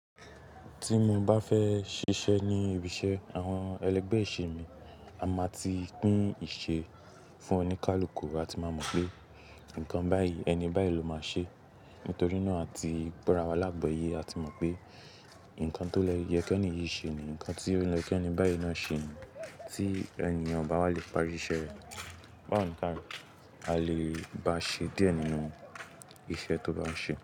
Tí mo bá fẹ́ ṣiṣẹ́ ní ibiṣẹ́ àwọn ẹlẹgbẹ́ ìṣe mi, a máa ti pín ìṣe fún oníkálukú. A ti máa mọ̀ pé nǹkan báyìí, ẹni báyìí ló máa ṣe. Nítorí náà a ti gbórawa lágbóyé. A ti mọ̀ pé nǹkan tó lè yẹ kí ẹni yìí ṣe ní, nǹkan tí ó yè k'ẹni báyìí náà ṣe ní. Tí ènìyàn bá wá le parí iṣẹ́ rẹ̀, báwọn nǹkan à lé bá ṣe díẹ̀ nínú iṣẹ́ tó bá ṣe.